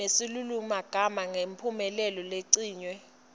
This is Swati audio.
nesilulumagama ngemphumelelo leyincenye